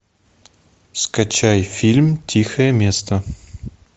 скачай фильм тихое место